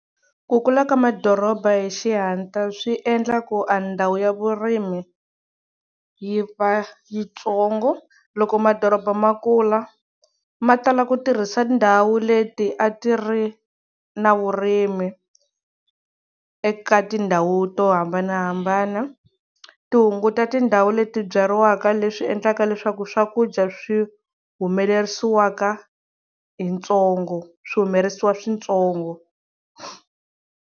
Ku kula ka madoroba hi xihantla swi endla ku a ndhawu ya vurimi yi va yitsongo loko madoroba ma kula ma tala ku tirhisa ndhawu leti a ti ri na vurimi eka tindhawu to hambanahambana ti hunguta tindhawu leti byariwaka leswi endlaka leswaku swakudya swi humelerisiwaka hi ntsongo swi humelerisiwa swintsongo.